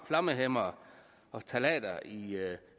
flammehæmmere og ftalater i